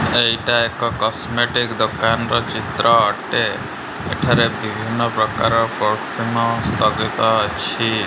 ଏଇଟା ଏକ କେସମେଟିକ ଦୋକାନର ଚିତ୍ର ଅଟେ। ଏଠାରେ ବିଭିନ୍ନ ପ୍ରକାର ପରଫ୍ୟୁମ ସ୍ଥଗିତ ଅଛି।